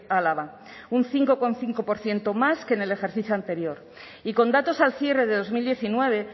álava un cinco coma cinco por ciento más que en el ejercicio anterior y con datos al cierre de dos mil diecinueve